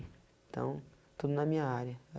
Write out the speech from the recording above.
Então, tudo na minha área.